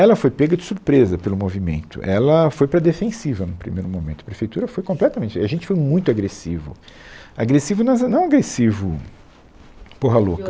Ela foi pega de surpresa pelo movimento, ela foi para defensiva no primeiro momento, a prefeitura foi completamente, a gente foi muito agressivo, agressivo nas a, não agressivo, porra louca.